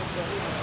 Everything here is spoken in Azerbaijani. Bəy bəy.